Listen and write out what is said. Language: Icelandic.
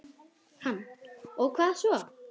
Hann: Og hvað svo?